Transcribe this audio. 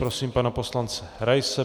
Prosím pana poslance Raise.